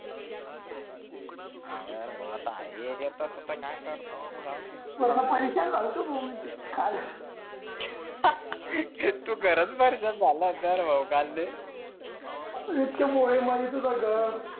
होण यार काय करत आताआता, जाऊ दे परेशान झालो होत काल हो ना तु खर परेशान झालो काल होतो भाऊ किती मागास मारी झालो होत